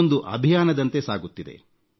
ಇದೊಂದು ಅಭಿಯಾನದಂತೆ ಸಾಗುತ್ತಿದೆ